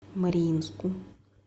мариинску